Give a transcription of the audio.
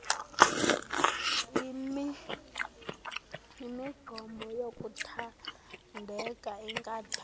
imigqomo yokuthandela inkathalo